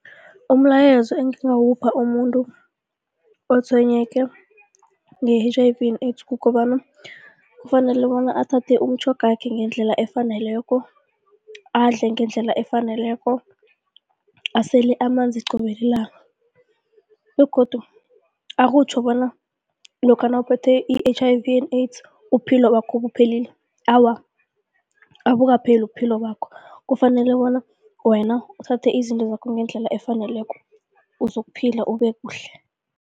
Umlayezo engingawupha umuntu utshwayeleke nge-H_I_V and AIDS, kukobana kufanele bona athathe umutjhogakhe ngendlela efaneleko, adle ngendlela efaneleko, asele amanzi qobe lilanga begodu akutjho bona lokha nawuphethwe yi-H_I_V and AIDS, ubuphilo bakho buphelile, awa, abukapheli ubuphilo bakho, kufanele bona wena uthathe izinto zakho ngendlela efaneleko uzokuphila ube kuhle.